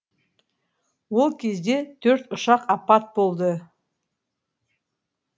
ол кезде төрт ұшақ апат болды